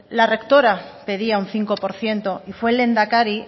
la rectora pedía un cinco por ciento y fue el lehendakari